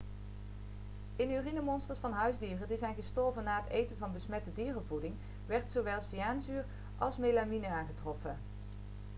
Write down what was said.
in urinemonsters van huisdieren die zijn gestorven na het eten van besmette dierenvoeding werd zowel cyaanuurzuur als melamine aangetroffen